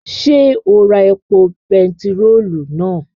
Ṣé o ra epo bentiróòlù náà?